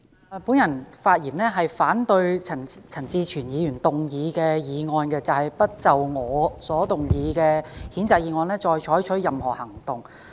我發言反對陳志全議員動議的議案，不就我所動議的譴責議案再採取任何行動。